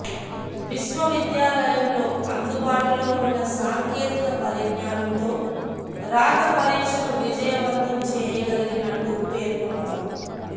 విశ్వవిద్యాలయంలో అందుబాటులో ఉన్న సాంకేతిక పరిజ్ఞానంతో రాత పరీక్షను విజయవంతం చేయగలిగినట్టు పేర్కొన్నారు